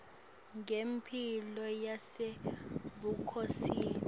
ngemphilo yasebukhosini